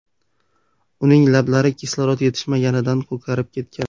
Uning lablari kislorod yetishmaganidan ko‘karib ketgan.